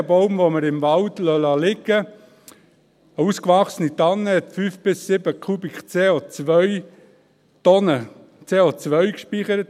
Ich glaube, jeder Baum, den wir im Wald liegenlassen – eine ausgewachsene Tanne hat 5 bis 7 Tonnen CO gespeichert.